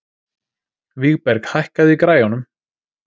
Vígberg, hækkaðu í græjunum.